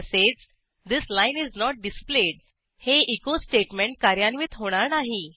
तसेच this line is not displayed हे echo statement कार्यान्वित होणार नाही